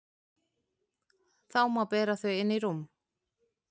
Þá má bera þau inn í rúm.